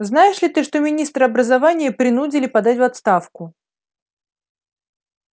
знаешь ли ты что министра образования принудили подать в отставку